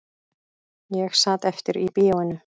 Ég sat eftir í bíóinu